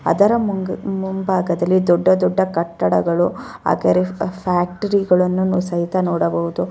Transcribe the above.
ಅದರ ಮುಮ್ ಮುಂಭಾಗದಲ್ಲಿ ದೊಡ್ಡ ದೊಡ್ಡಕಟ್ಟಡಗಳು ಅದರ ಫ್ಯಾಕ್ಟರಿ ಗಳನ್ನ ಸಹಿತ ನಾವು ನೋಡಬಹುದು.